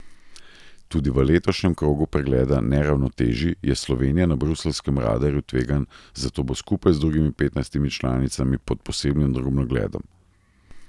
Tudi v letošnjem krogu pregleda neravnotežij je Slovenija na bruseljskem radarju tveganj, zato bo skupaj z drugimi petnajstimi članicami pod posebnim drobnogledom.